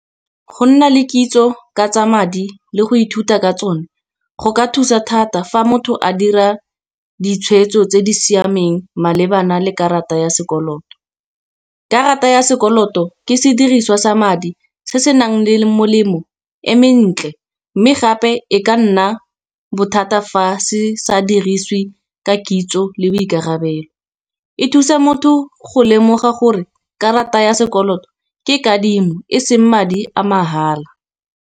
Go nna le kitso ka tsa madi le go ithuta ka tsone go ka thusa thata fa motho a dira ditshwetso tse di siameng malebana le karata ya sekoloto. Karata ya sekoloto ke sediriswa sa madi se senang le le molemo e mentle, mme gape e ka nna bothata fa se sa dirisiwe ka kitso le boikarabelo. E thusa motho go lemoga gore karata ya sekoloto ke kadimo e seng madi a mahala.